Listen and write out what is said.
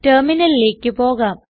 ടെർമിനലിലേക്ക് പോകാം